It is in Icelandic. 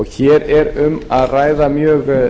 hér er um að ræða mjög